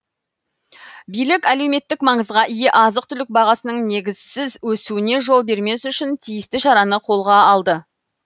билік әлеуметтік маңызға ие азық түлік бағасының негізсіз өсуіне жол бермес үшін тиісті шараны қолға алды